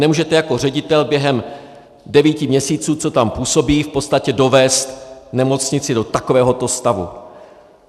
Nemůžete jako ředitel během devíti měsíců, co tam působí, v podstatě dovést nemocnici do takovéhoto stavu.